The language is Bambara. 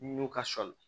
Nun ka sɔli